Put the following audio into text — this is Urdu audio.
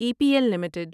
E P L limited